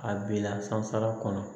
A bila sanfɛla kɔnɔ